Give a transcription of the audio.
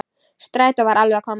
Strætó var alveg að koma.